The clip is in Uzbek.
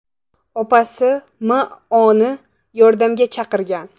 opasi M.O.ni yordamga chaqirgan.